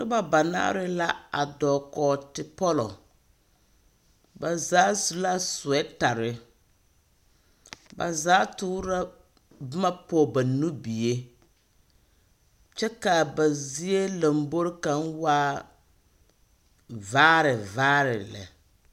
Noba banaare la a dɔɔ kɔɔ tepɔlɔ. Ba zaa su la soɛtare. Ba zaa toor’ a boma pɔge ba nubie. Kyɛ k'a ba zie lamboor kaŋ waa vaare vaare lɛ.